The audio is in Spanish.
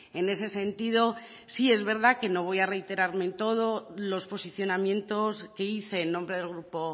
en ese sentido sí es verdad que no voy a reiterarme en todos los posicionamientos que hice en nombre del grupo